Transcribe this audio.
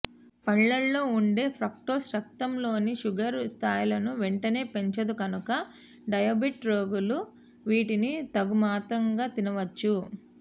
పండ్లలో ఉండే ఫ్రక్టోస్ రక్తంలోని షుగర్ స్ధాయిలను వెంటనే పెంచదు కనుక డయాబెటిక్ రోగులు వీటిని తగుమాత్రంగా తినవచ్చు